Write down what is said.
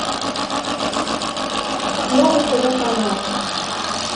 новый тв канал